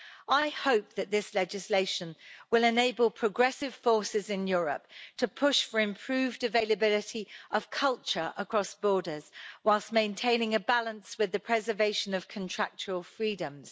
I hope that this legislation will enable progressive forces in Europe to push for improved availability of culture across borders, whilst maintaining a balance with the preservation of contractual freedoms.